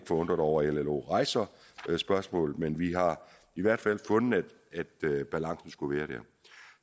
forundret over at llo rejser spørgsmålet men vi har i hvert fald fundet at balancen skulle være dér